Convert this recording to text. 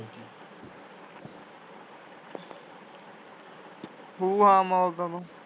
ਖੂ ਆ ਮੌਤ ਦਾ